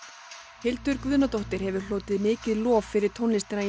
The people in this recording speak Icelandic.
Hildur Guðnadóttir hefur hlotið mikið lof fyrir tónlistina í